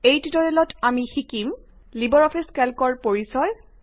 এই টিউটৰিয়েলত আমি শিকিব পাৰিম লিবাৰ অফিচ কেল্কৰ পৰিচয়